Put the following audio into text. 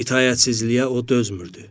İtaətsizliyə o dözmürdü.